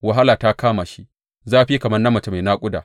Wahala ta kama shi, zafi kamar na mace mai naƙuda.